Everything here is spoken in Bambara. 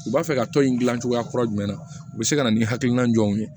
U b'a fɛ ka tɔn in gilan cogoya kura jumɛn na u bɛ se ka na ni hakilina jɔw ye